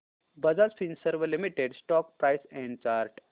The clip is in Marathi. Bajaj Finserv limited stock price and chart